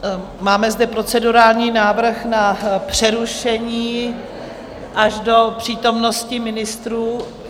Máme zde procedurální návrh na přerušení až do přítomnosti ministrů.